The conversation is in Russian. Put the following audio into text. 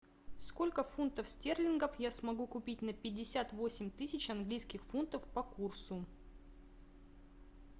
сколько фунтов стерлингов я смогу купить на пятьдесят восемь тысяч английских фунтов по курсу